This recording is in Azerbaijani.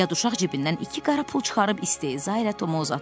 Yad uşaq cibindən iki qara pul çıxarıb istehzayla Tomu uzatdı.